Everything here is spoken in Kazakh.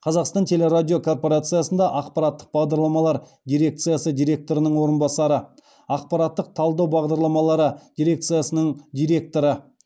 қазақстан теле радио корпорациясында ақпараттық бағдарламалар дирекциясы директорының орынбасары ақпараттық талдау бағдарламалары дирекциясының директоры